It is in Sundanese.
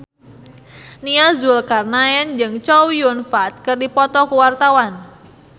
Nia Zulkarnaen jeung Chow Yun Fat keur dipoto ku wartawan